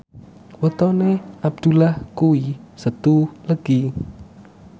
wetone Abdullah kuwi Setu Legi